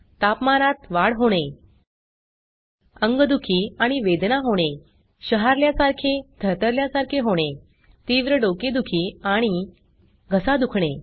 तापमानात वाढ होणे अंगदुखी आणि वेदना होणे शहारल्यासारखे थरथरल्यारखे होणे तीव्र डोकेदुखी आणि घसा दुखणे